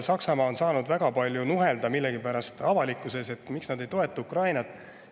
Saksamaa on saanud avalikkuses millegipärast väga palju nuhelda, et miks nad ei toeta Ukrainat.